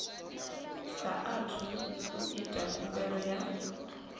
saathu u ita khumbelo ya